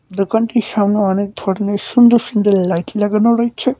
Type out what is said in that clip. দোকানটির সামনে অনেক ধরনের সুন্দর সুন্দর লাইট লাগানো রয়েছে।